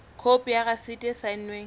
khopi ya rasiti e saennweng